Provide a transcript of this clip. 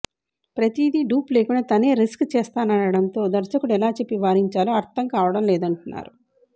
ప్రతీది డూప్ లేకుండా తనే రిస్క్ చేస్తాననటంతో దర్శకుడు ఎలా చెప్పి వారించాలో అర్దం కావటం లేదంటున్నారు